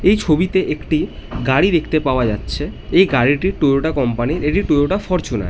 এই ছবি তে একটি গাড়ি দেখতে পাওয়া যাচ্ছে এই গাড়িটি টয়োটা কোম্পানি র টয়োটা ফরচুনার ।